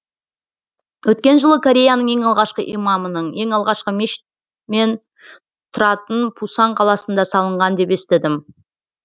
өткен жылы кореяның ең алғашқы имамының ең алғашқы мешіт мен тұратын пусан қаласында салынған деп естідім